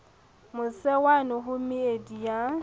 mose wane ho meedi ya